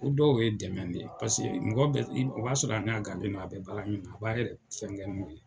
O dɔw ye dɛmɛ de ye .Paseke mɔgɔ bɛ i ,o b'a sɔrɔ an ɲa gannen don an be baara min na a b'a yɛrɛ fɛnkɛ n'o ye.